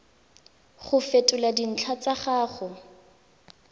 go fetola dintlha tsa gago